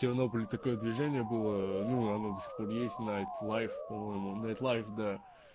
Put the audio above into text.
тернопыле такое движение было ну оно до сих пор есть найтлайф по-моему нэйтлайф да